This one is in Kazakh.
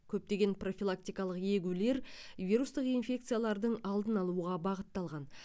көптеген профилактикалық егулер вирустық инфекциялардың алдын алуға бағытталған